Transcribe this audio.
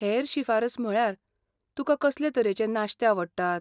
हेर शिफारस म्हळ्यार, तुकां कसले तरेचें नाश्ते आवडटात?